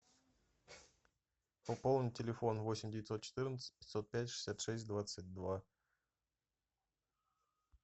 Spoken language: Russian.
пополнить телефон восемь девятьсот четырнадцать пятьсот пять шестьдесят шесть двадцать два